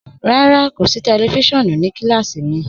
Rárá, kò sí tẹlifísiọ̀nù ní kílásí mí.